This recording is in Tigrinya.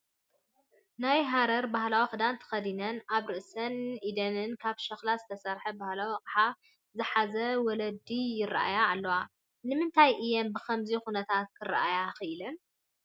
ናይ ሃረር ባህላዊ ክዳን ተኸዲነን ኣብ ርእሰንን ኢደንን ካብ ሸክላ ዝተሰርሐ ባህላዊ ኣቕሓ ዝሓዛ ወለዲ ይርአያ ኣለዋ፡፡ ንምንታይ እየን ብኸምዚ ኩነታት ክርአያ ክኢለን?